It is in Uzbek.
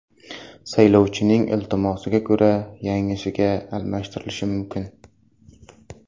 Saylovchining iltimosiga ko‘ra yangisiga almashtirilishi mumkin.